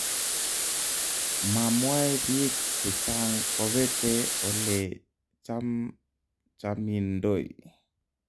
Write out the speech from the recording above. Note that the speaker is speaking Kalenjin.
Mamwae biik chechang kobete ole chamchamindoi